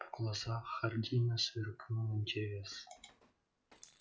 в глазах хардина сверкнул интерес